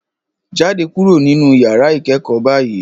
Jáde kúrò nínú yàrá ìkẹ́kọ̀ọ́ báyìí